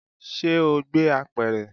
Ṣe o gbé apẹ̀rẹ̀?